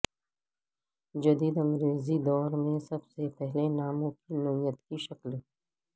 جدید انگریزی دور میں سب سے پہلے ناموں کی نوعیت کی شکل